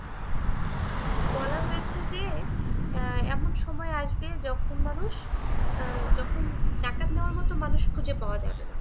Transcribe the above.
বলা হয়েছে যে আহ এমন সময় আসবে যখন মানুষ আহ যখন যাকাত নেওয়ার মতো মানুষ খুঁজে পাওয়া যাবে না।